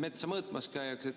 metsa mõõtmas käiakse.